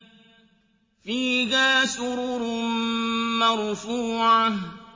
فِيهَا سُرُرٌ مَّرْفُوعَةٌ